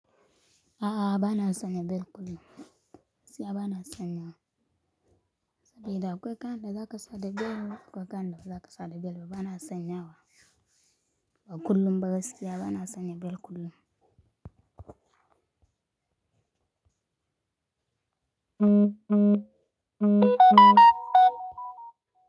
A'a, ba na san na bel kullum. Siya ba na sanya wa. De da akwai kayan da za ka sa da bel, akwai kayan da za ka sa da bel. Ba na sanya wa. Ba kullum ba gaskiya, ba na sanya bel kullum.